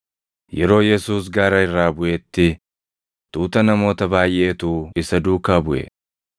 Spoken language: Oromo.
Yeroo Yesuus gaara irraa buʼetti, tuuta namoota baayʼeetu isa duukaa buʼe.